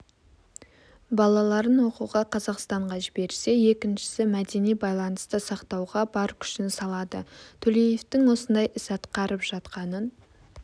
балаларын оқуға қазақстанға жіберсе екіншісі мәдени байланысты сақтауға бар күшін салады төлеевтің осындай ісатқарып жатқанын